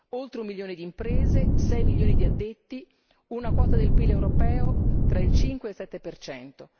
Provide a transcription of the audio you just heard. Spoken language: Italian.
Oltre 1 milione di imprese, 6 milioni di addetti, una quota del PIL europeo tra il 5 e il 7 percento.